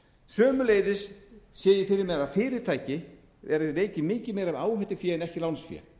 sömuleiðis sé ég fyrir mér að fyrirtæki verði tekin mikið meira með áhættufé en ekki lánsfé